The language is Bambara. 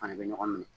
Fana bɛ ɲɔgɔn minɛ